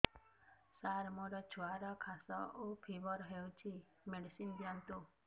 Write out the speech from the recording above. ସାର ମୋର ଛୁଆର ଖାସ ଓ ଫିବର ହଉଚି ମେଡିସିନ ଦିଅନ୍ତୁ